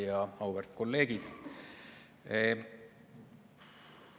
Ja auväärt kolleegid!